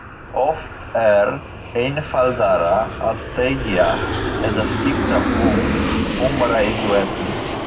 Oft er einfaldara að þegja eða skipta um umræðuefni.